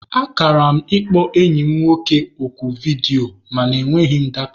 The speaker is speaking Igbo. Akara m ịkpọ enyi m nwoke oku ọdịyo mana e nweghị m data